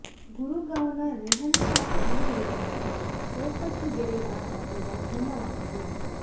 ಗುರುಗಾಂವ್ನ ರೆಹಾನ್ ಷಾ ಕಂಡುಹಿಡಿದಂತೆ ಚೌಕಟ್ಟು ಗೆರೆ ಗಾತ್ರ ಕೂಡಾ ಭಿನ್ನವಾಗಿದೆ